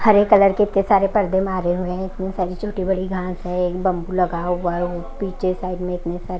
हरे colour के इतने सारे पर्दे मारे हुए हैं इतने सारी छोटी बड़ी घास है एक बम्बू लगा हुआ है पीछे साइड में इतने सारे--